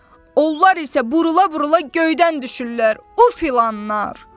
Onlar isə burula-burula göydən düşürlər, o filanlar.